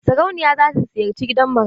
Sarauniya za ta ziyarci gidan marayu.